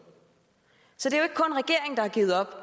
så det